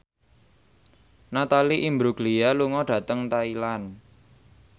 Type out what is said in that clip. Natalie Imbruglia lunga dhateng Thailand